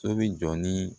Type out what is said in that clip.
So bi jɔ ni